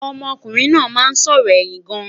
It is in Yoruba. ọmọ kunrin nà má n sòrò ẹyìn gaan